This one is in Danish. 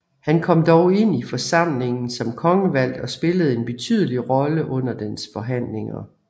Han kom dog ind i forsamlingen som kongevalgt og spillede en betydelig rolle under dens forhandlinger